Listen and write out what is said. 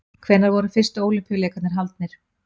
Hvenær voru fyrstu Ólympíuleikarnir haldnir?